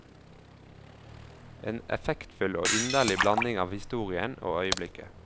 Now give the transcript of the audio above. En effektfull og inderlig blanding av historien og øyeblikket.